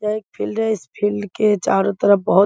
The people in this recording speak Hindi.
यह एक फील्ड है इस फील्ड के चारों तरफ बहुत --